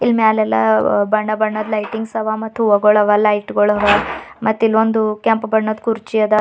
ಮ್ಯಾಲೆಲ್ಲ ಬಣ್ಣ ಬಣ್ಣದ ಲೈಟಿಂಗ್ಸ್ ಅವಾ ಮತ್ತು ಹೊಗಳವ ಲೈಟ್ ಗೋಳವ ಮತ್ತೆ ಇಲ್ಲೊಂದು ಕೆಂಪು ಬಣ್ಣದ ಕುರ್ಚಿಯಾದ.